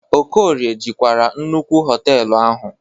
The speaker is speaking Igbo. Okorie jikwara nnukwu họtelụ ahu.